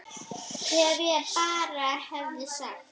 Ef ég bara hefði sagt.